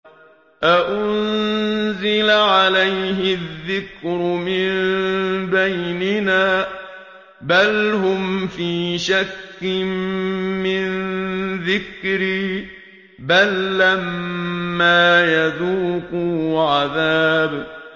أَأُنزِلَ عَلَيْهِ الذِّكْرُ مِن بَيْنِنَا ۚ بَلْ هُمْ فِي شَكٍّ مِّن ذِكْرِي ۖ بَل لَّمَّا يَذُوقُوا عَذَابِ